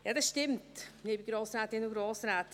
Ja, das stimmt, liebe Grossrätinnen und Grossräte.